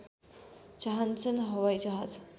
चाहन्छन् हवाइजहाज